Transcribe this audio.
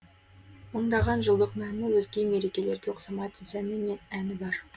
мыңдаған жылдық мәні өзге мерекелерге ұқсамайтын сәні мен әні бар